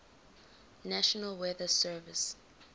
national weather service